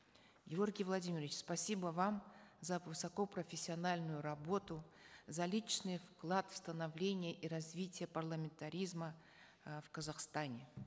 георгий владимирович спасибо вам за высокопрофессиональную работу за личный вклад в становление и развитие парламентаризма э в казахстане